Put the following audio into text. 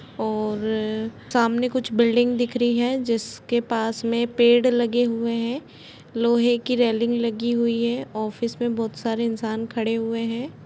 और सामने कुछ बिल्डिंग दिख रही है जिसके पास में पेड़ लगे हुए हैं लोहे की रेलिंग लगी हुयी है ऑफिस में बहुत सारे इंसान खड़े हुए हैं।